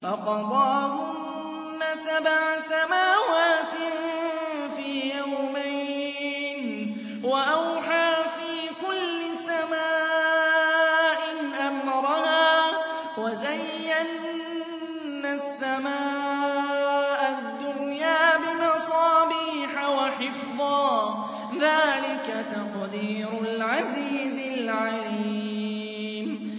فَقَضَاهُنَّ سَبْعَ سَمَاوَاتٍ فِي يَوْمَيْنِ وَأَوْحَىٰ فِي كُلِّ سَمَاءٍ أَمْرَهَا ۚ وَزَيَّنَّا السَّمَاءَ الدُّنْيَا بِمَصَابِيحَ وَحِفْظًا ۚ ذَٰلِكَ تَقْدِيرُ الْعَزِيزِ الْعَلِيمِ